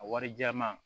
A warijɛman